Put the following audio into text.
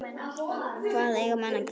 Hvað eiga menn að gera?